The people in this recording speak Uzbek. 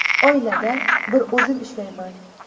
Oilada bir o‘zim ishlayman.